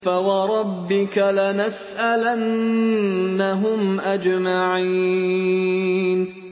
فَوَرَبِّكَ لَنَسْأَلَنَّهُمْ أَجْمَعِينَ